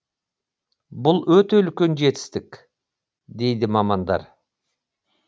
бұл өте үлкен жетістік дейді мамандар